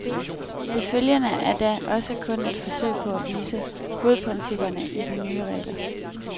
Det følgende er da også kun et forsøg på at vise hovedprincipperne i de nye regler.